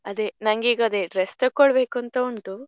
ಅದೇ ನಂಗೆ ಈಗ dress ತಕೊಳ್ಬೇಕು ಅಂತ ಉಂಟು.